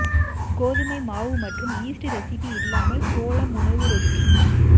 கோதுமை மாவு மற்றும் ஈஸ்ட் ரெசிபி இல்லாமல் சோளம் உணவு ரொட்டி